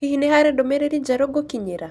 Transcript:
Hihi nĩ harĩ ndũmĩrĩri njerũ ngũkinyĩra?